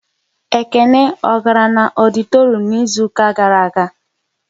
Ekene ọ gara na ọditorum n'izuka gara aga?